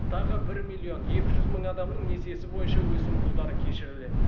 тағы бір миллион екі жүз мың адамның несиесі бойынша өсімпұлдары кешіріледі